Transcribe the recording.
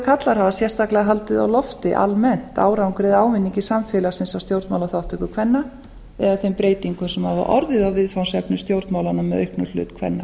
karlar hafa sérstaklega haldið á lofti almennt árangri eða ávinningi samfélagsins af stjórnmálaþátttöku kvenna eða þeim breytingum sem hafa orðið á viðfangsefnum í stjórnmálum með auknum hlut kvenna